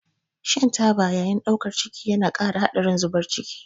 Shan taba a lokacin ɗaukar ciki yana ƙara haɗarin zubar ciki.